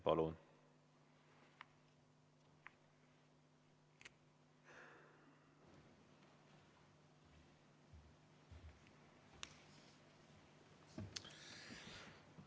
Palun!